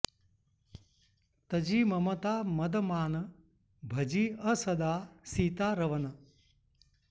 तजि ममता मद मान भजिअ सदा सीता रवन